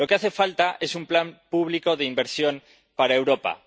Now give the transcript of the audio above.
Lo que hace falta es un plan público de inversión para Europa.